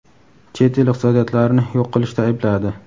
chet el iqtisodiyotlarini yo‘q qilishda aybladi.